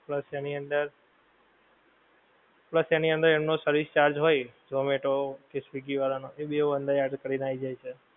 plus એની અંદર, plus એની અંદર એમનો service charge હોય, ઝોમેટો કે સ્વીગી વાળાં નો એ બેવ એની અંદર add કરીને આવી જાય છે.